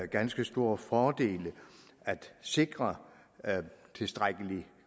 ganske stor fordel at sikre tilstrækkelig